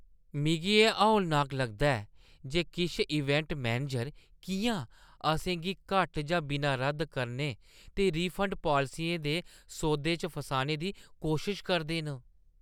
मिगी एह् हौलनाक लगदा ऐ जे किश इवेंट मैनेजर किʼयां असें गी घट्ट जां बिना रद्द करने ते रिफंड पालसियें दे सौदें च फसाने दी कोशश करदे न।